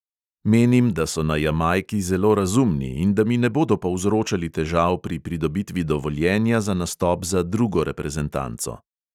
Menim, da so na jamajki zelo razumni in da mi ne bodo povzročali težav pri pridobitvi dovoljenja za nastop za drugo reprezentanco.